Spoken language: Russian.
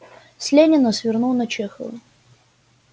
с ленина свернул на чехова